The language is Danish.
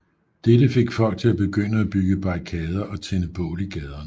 Dette fik folk til at begynde at bygge barrikader og tænde bål i gaderne